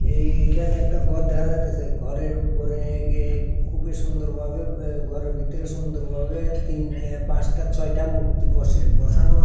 এ এইখানে একটা গর দেখা যাইতাসে ঘরের উপরে গে খুবই সুন্দরবাবে বে গরের ভিতরে সুন্দরবাবে তিন এ পাঁচটা ছয়টা মূর্তি বসে বসানো আসে।